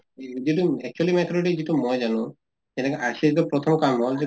যিটো actually যিটো মই জানো যেনেকা RCS ৰ প্ৰথম কাম হʼল